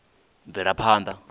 bvelaphanḓa